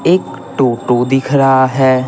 एक टोटो दिख रहा है।